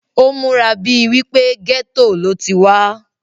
ó múra bíi wípé gẹ́tò ló ti wá